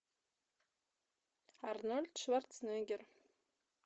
арнольд шварценеггер